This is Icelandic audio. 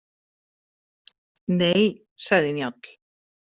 Nei, sagði Njáll.